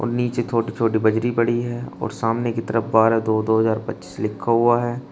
नीचे छोटी छोटी बजरी पड़ी है और सामने की तरफ बारह दो दो हजार पच्चीस लिखा हुआ है।